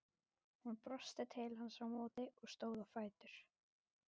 Hún brosti til hans á móti og stóð á fætur.